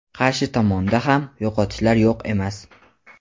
qarshi tomonda ham yo‘qotishlar yo‘q emas.